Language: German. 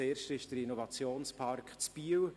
Das erste ist der Innovationspark in Biel.